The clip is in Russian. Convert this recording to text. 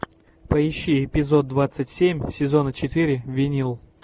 поищи эпизод двадцать семь сезона четыре винил